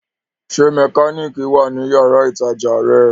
Ṣé mẹkánìkì wà ní yàrá-ìtajà rẹ̀?